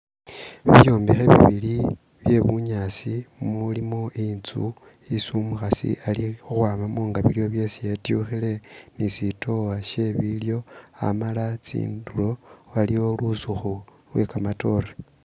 Bibyombekhe bibili bye bunyaasi umulimo inzu isi umukhasi ali khukhwamamu nganibyo byesi etyukhile ni sitowa sye bilyo amala tsindulo waliwo lusukhu lwe kamatore.